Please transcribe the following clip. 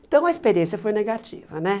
Então a experiência foi negativa, né?